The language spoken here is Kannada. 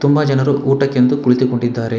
ತುಂಬಾ ಜನರು ಊಟಕ್ಕೆ ಎಂದು ಕುಳಿತುಕೊಂಡಿದ್ದಾರೆ.